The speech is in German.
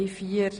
Ja Nein